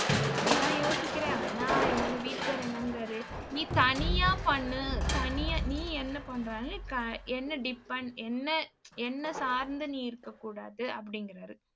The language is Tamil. அது தான் யோசிக்கிறேன் ஆனா எங்க வீட்டுக்காரர் என்னங்குறாரு நீ தனியா பண்ணு. தனியா நீ என்ன பண்ணாலும் க~ என்ன depend என்னை என்னை சார்ந்து நீ இருக்கக் கூடாது அப்படிங்கிறாரு.